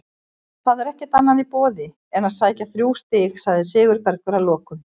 Það er ekkert annað í boði en að sækja þrjú stig, sagði Sigurbergur að lokum.